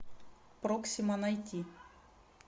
проксима найти